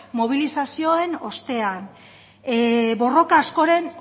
mobilizazioen ostean borroka askoren